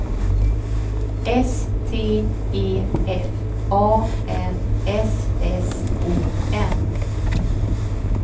S T E F A N S S O N